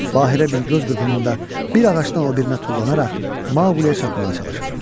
Bahiə bir göz qırpınında bir ağacdan o birinə tullanaraq Maqləyə çatmağa çalışırdı.